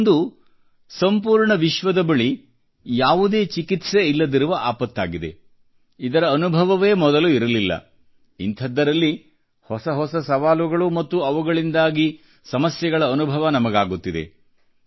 ಇದೊಂದು ಸಂಪೂರ್ಣ ವಿಶ್ವದ ಬಳಿ ಯಾವುದೇ ಚಿಕಿತ್ಸೆ ಇಲ್ಲದಿರುವ ಆಪತ್ತಾಗಿದೆ ಇದರ ಅನುಭವವೇ ಮೊದಲು ಇರಲಿಲ್ಲ ಇಂತಹದ್ದರಲ್ಲಿ ಹೊಸ ಹೊಸ ಸವಾಲುಗಳು ಮತ್ತು ಅವುಗಳಿಂದಾಗಿ ಸಮಸ್ಯೆಗಳ ಅನುಭವ ನಮಗಾಗುತ್ತಿದೆ